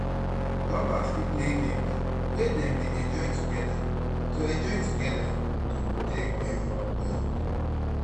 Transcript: lovers fit play game wey dem dey enjoy together to enjoy together to take bulid bond